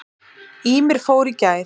Ýmir fór í gær.